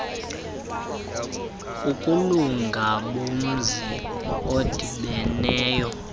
ukulunga bomzi odibeneyo